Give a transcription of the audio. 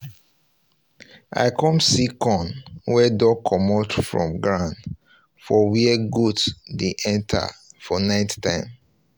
um i come see corn um wey don comot from ground um for where goats dey enter for nighttime